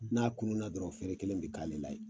N'a kunnu na dɔrɔn ferekelen bi k'ale la yen.